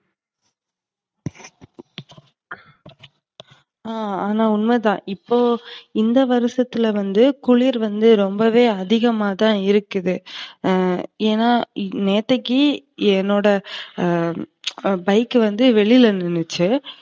ஆஹ் ஆனா உண்மதான். இப்போ இந்த வருசத்துல வந்து குளிர் வந்து ரொம்பவே அதிகமா தான் இருக்கு. ஏன்னா நேத்தைக்கு என்னோட அ bike வந்து வெளியில நின்னுச்சு